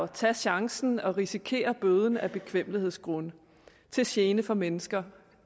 tage chancen og risikere bøden af bekvemmelighedsgrunde til gene for mennesker